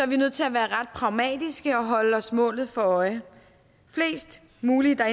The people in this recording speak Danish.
vi nødt til at være ret pragmatiske og holde os målet for øje flest mulige der